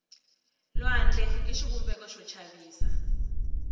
lwandle i xivumbeko xo chavisa